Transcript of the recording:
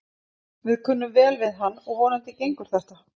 Við kunnum vel við hann og vonandi gengur þetta.